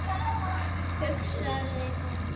hugsaði hún.